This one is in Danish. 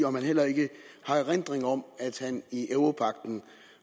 om han heller ikke har erindring om at han i europagten